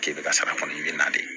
K'i bɛ ka sara kɔni i bɛ na de